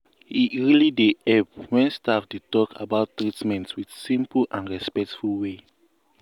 e really dey help when staff dey talk about treatment with simple and respectful way.